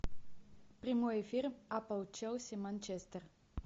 прямой эфир апл челси манчестер